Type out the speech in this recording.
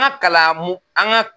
An ka kalanmu an ka